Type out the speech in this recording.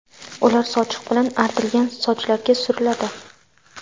Ular sochiq bilan artilgan sochlarga suriladi.